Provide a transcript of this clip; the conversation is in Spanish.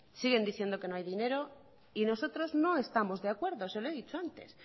siguen diciendo que no hay dinero y nosotros no estamos de acuerdo se lo he dicho antes